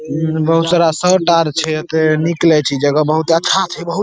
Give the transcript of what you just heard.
बहुत सारा शर्ट आर एता छै निकले छै इ जगह बहुते अच्छा छै बहुत --